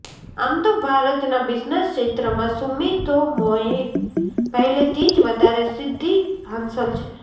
આમ તો ભારતનાં બિઝનેસ ક્ષેત્રમાં સુમિતોમોને પહેલેથી જ વધારે સિદ્ધિ હાંસલ છે